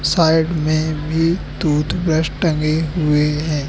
Side में भी toothbrush टंगे हुए हैं।